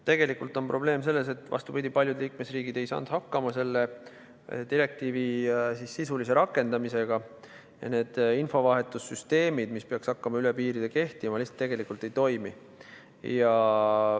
Tegelikult on probleem selles, vastupidi, et paljud liikmesriigid ei saanud hakkama selle direktiivi sisulise rakendamisega ja need infovahetussüsteemid, mis peaks hakkama üle piiride kehtima, lihtsalt ei toimi.